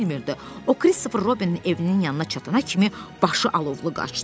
O Kristofer Robinin evinin yanına çatana kimi başı alovlu qaçdı.